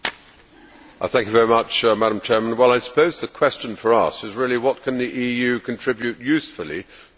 Madam President, I suppose the question for us is really what can the EU contribute usefully to developments in the Middle East?